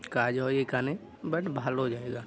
কাজ হয় এখানে বাট ভালো জায়গা।